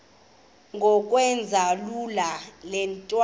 ngokwenza lula iintlawulo